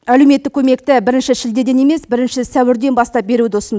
әлеуметтік көмекті бірінші шілдеден емес бірінші сәуірден бастап беруді ұсынды